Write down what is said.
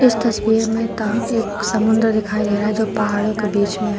इस तस्वीर में ता एक समुंदर दिखाई दे रहा है जो पहाड़ों के बीच में है।